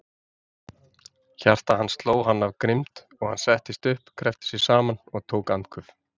Hjarta hans sló hann af grimmd, og hann settist upp, kreppti sig saman, tók andköf.